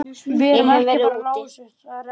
Ég hef verið úti.